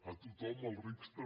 a tothom als rics també